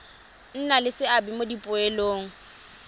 nna le seabe mo dipoelong